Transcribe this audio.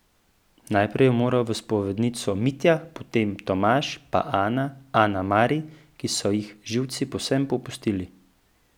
Najprej je moral v spovednico Mitja, potem Tomaž, pa Ana, Ana Mari, ki so ji živci povsem popustili.